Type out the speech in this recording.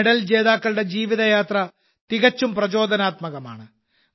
ഈ മെഡൽ ജേതാക്കളുടെ ജീവിതയാത്ര തികച്ചും പ്രചോദനാത്മകമാണ്